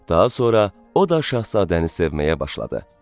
daha sonra o da Şahzadəni sevməyə başladı.